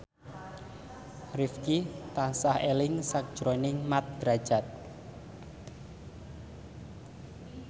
Rifqi tansah eling sakjroning Mat Drajat